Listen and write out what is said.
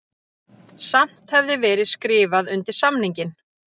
Samt hefði verið skrifað undir samninginn